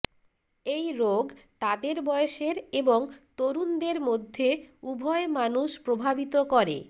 এই রোগ তাদের বয়সের এবং তরুণদের মধ্যে উভয় মানুষ প্রভাবিত করে